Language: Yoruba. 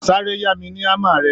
Sáré yá mi ní hámmer rẹ